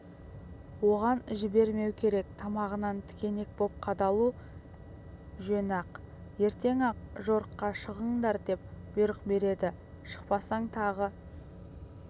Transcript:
оған жібермеу керек тамағынан тікенек боп қадалу жөн-ақ ертең-ақ жорыққа шығыңдар деп бұйрық береді шықпасаң тағы